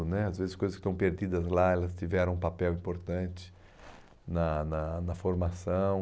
né às vezes coisas que estão perdidas lá elas tiveram um papel importante na na na formação.